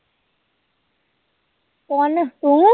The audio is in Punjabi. ਕੌਣ ਤੂ